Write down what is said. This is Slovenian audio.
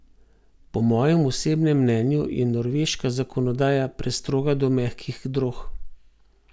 Po mojem osebnem mnenju je norveška zakonodaja prestroga do mehkih drog.